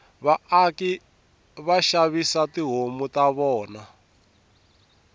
vaaki vashavisa tihhomu tavona